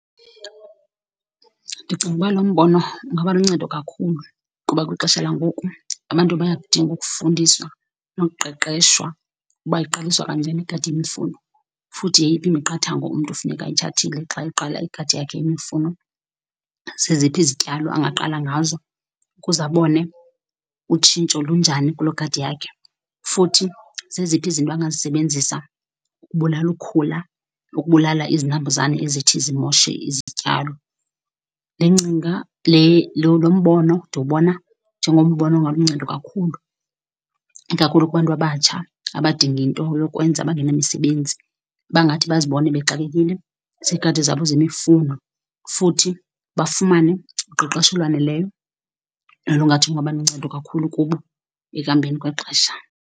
Ndicinga ukuba lo mbono ungaba luncedo kakhulu kuba kwixesha langoku abantu bayakudinga ukufundisa nokuqeqeshwa uba iqaliswe kanjena igadi yemifuno. Futhi yeyiphi imiqathango umntu funeka ayithathile xa eqala igadi yakhe yemifuno, zeziphi zityalo angaqala ngazo ukuze abone utshintsho lunjani kuloo gadi yakhe. Futhi zeziphi izinto angazisebenzisa ukubulala ukhula nokubulala izinambuzane ezithi zimoshe izityalo. Le ngcinga le lo lo mbono ndiwubona njengombono ongaluncedo kakhulu, ikakhulu kubantu abatsha abadinga into yokwenza, abangenamsebenzi. Abangathi bazibone bexakekile ziigadi zabo zemifuno futhi bafumane uqeqesho olwaneleyo nolungathi lungaba luncedo kakhulu kubo ekuhambeni kwexesha.